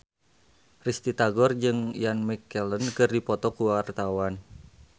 Risty Tagor jeung Ian McKellen keur dipoto ku wartawan